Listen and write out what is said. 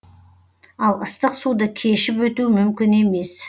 ал ыстық суды кешіп өту мүмкін емес